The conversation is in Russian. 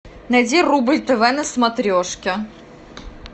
найди рубль тв на смотрешке